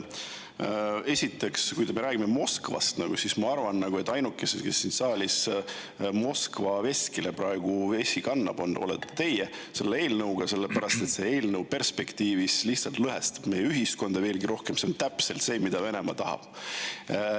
Esiteks, kui me räägime Moskvast, siis ma arvan, et ainuke, kes siin saalis Moskva veskile praegu vett kannab, olete teie selle eelnõuga, sellepärast et see eelnõu perspektiivis lihtsalt lõhestab meie ühiskonda veelgi rohkem, ja see on täpselt see, mida Venemaa tahab.